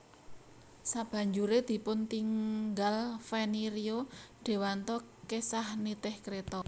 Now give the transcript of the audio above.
Sabanjure dipuntinggal Feni Rio Dewanto kesah nitih kreta